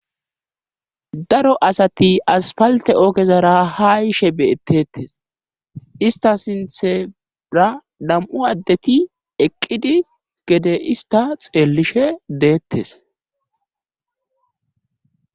Daro asati aspalte oogezara ha yishe beettetes ista sinthera nam7u addeti eqqidi gede ista xeellishe deettes